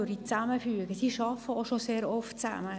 Sie arbeiten auch schon sehr oft zusammen.